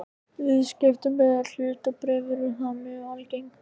Viðskipti með hlutabréf eru þar mjög algeng.